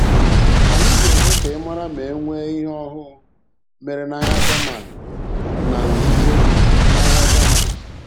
Anyị ga-eme ka ị mara ma e nwee ihe ọhụụ mere n'ahịa German na nzuzo na ahịa German.